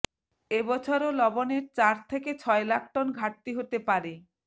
এ বছরও লবণের চার থেকে ছয় লাখ টন ঘাটতি হতে পারে